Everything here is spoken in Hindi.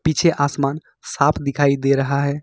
पीछे आसमान साफ दिखाई दे रहा है।